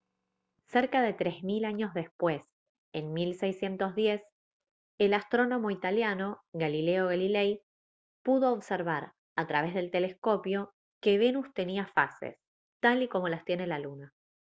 cerca de tres mil años después en 1610 el astrónomo italiano galileo galilei pudo observar a través del telescopio que venus tenía fases tal y como las tiene la luna